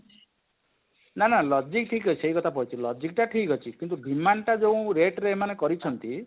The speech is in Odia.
ନା ନା logic ଠିକ ଅଛି ଏ କଥା କହୁଛି logic ଟା ଠିକ ଅଛି କିନ୍ତୁ demand ଟା ଯୋଉ rate ରେ ଇମାନେ କରିଛନ୍ତି?